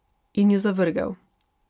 In jo zavrgel.